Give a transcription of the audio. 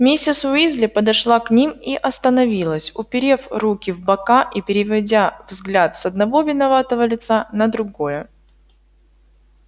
миссис уизли подошла к ним и остановилась уперев руки в бока и переводя взгляд с одного виноватого лица на другое